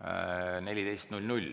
14.00.